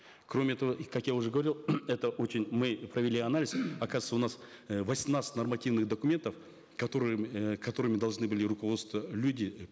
кроме того и ак я уже говорил это очень мы провели анализ оказывается у нас э восемнадцать нормативных документов которые э которыми должны были люди